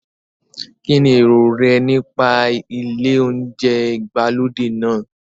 Kín ni èrò rẹ nípa ilé oúnjẹ ìgbàlódé náà?